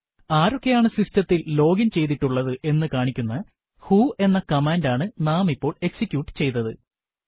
ആരൊക്കെയാണ് സിസ്റ്റത്തിൽ ലോഗിൻ ചെയ്തിട്ടുള്ളത് എന്നു കാണിക്കുന്ന വ്ഹോ എന്ന കമാൻഡ് ആണ് നാം ഇപ്പോൾ എക്സിക്യൂട്ട് ചെയ്തത്